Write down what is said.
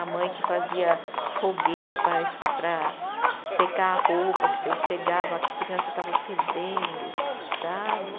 A mãe que fazia fogueira para secar a roupa, que você chegava, a criança estava fedendo, sabe?